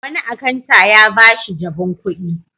Wani akanta ya ba shi jabun kuɗi.